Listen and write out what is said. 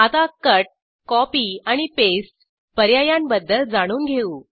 आता cut copy आणि paste पर्यायांबद्दल जाणून घेऊ